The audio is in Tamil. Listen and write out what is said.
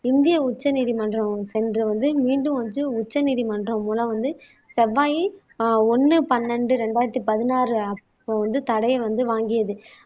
இந்திய உச்சநீதிமன்றம் சென்று வந்து மீண்டும் வந்து உச்சநீதிமன்றம் மூலம் வந்து செவ்வாய் ஆஹ் ஒண்ணு பன்னெண்டு இரண்டாயிரத்தி பதினாறு தடையை அப்போ வந்து வாங்கியது